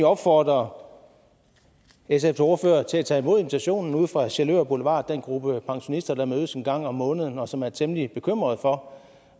opfordre sfs ordfører til at tage imod invitationen ude fra sjælør boulevard den gruppe pensionister der mødes en gang om måneden og som er temmelig bekymrede for